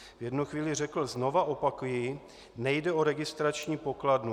V jednu chvíli řekl: "Znova opakuji - nejde o registrační pokladnu.